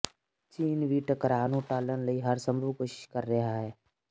ਚੀਨ ਵੀ ਟਕਰਾਅ ਨੂੰ ਟਾਲਣ ਦੀ ਹਰ ਸੰਭਵ ਕੋਸ਼ਿਸ਼ ਕਰ ਰਿਹਾ ਹੈ